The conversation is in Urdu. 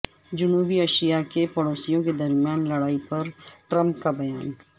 جنوبی ایشیاء کے پڑوسیوں کے درمیان لڑائی پر ٹرمپ کا بیان